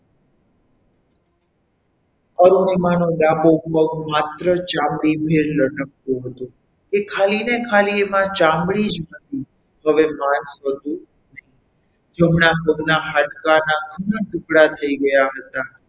અરુણિમા નો ડાબો પગ માત્ર ચામડીથી લટકતો હતો એ ખાલી ~ ખાલીને એમાં ચામડી જ હતી હવે માસ હતું નહીં જમણા પગના હાડકાના બંને ટુકડા થઈ ગયા હતા.